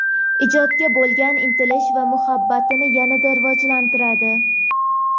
ijodga bo‘lgan intilish va muhabbatini yanada rivojlantiradi.